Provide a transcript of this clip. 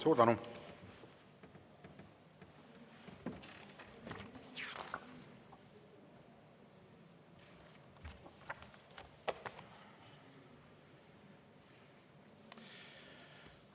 Suur tänu!